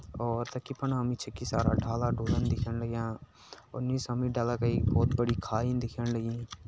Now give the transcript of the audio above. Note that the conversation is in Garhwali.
और ढला-ढुला दिख्येण लाग्यां डाला का एक बहुत बड़ी खाई दिख्यण लगीं।